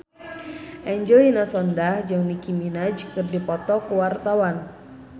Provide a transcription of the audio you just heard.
Angelina Sondakh jeung Nicky Minaj keur dipoto ku wartawan